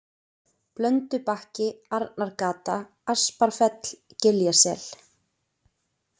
Blöndubakki, Arnargata, Asparfell, Giljasel